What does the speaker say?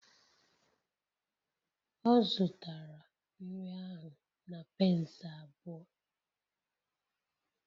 Ọ zụtara nri ahụ na pence abụọ